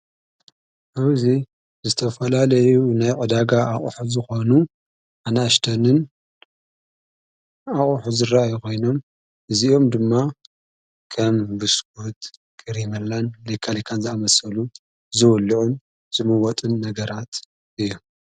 ኣብዙይ ዝተፈላለዩ ናይ ዕዳጋ ኣቝሕ ዝኾኑ ኣናእሽተንን ኣቝሕ ዝራአይ ኾይኖም እዚኦም ድማ ከም ብስኩትን ክሪመላን ሊቃሊካን ዝኣመሰሉ ዝወልዑን ዝምወጥን ነገራት እዮም።